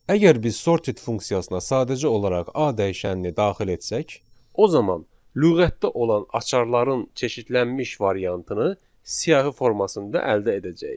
Əgər biz sorted funksiyasına sadəcə olaraq A dəyişənini daxil etsək, o zaman lüğətdə olan açarların çeşidlənmiş variantını siyahı formasında əldə edəcəyik.